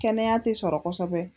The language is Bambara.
Kɛnɛya tɛ sɔrɔ kosɛbɛ